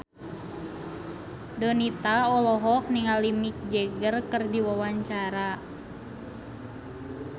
Donita olohok ningali Mick Jagger keur diwawancara